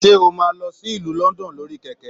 Se o máa n lọ sí ìlú London lórí kẹkẹ?